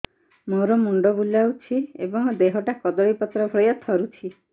ମୋର ମୁଣ୍ଡ ବୁଲାଉଛି ଏବଂ ଦେହଟା କଦଳୀପତ୍ର ଭଳିଆ ଥରୁଛି